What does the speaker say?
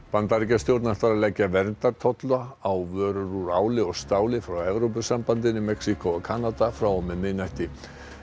Bandaríkjastjórn ætlar að leggja verndartolla á vörur úr áli og stáli frá Evrópusambandinu Mexíkó og Kanada frá og með miðnætti